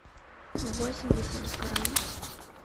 восемьдесят грамм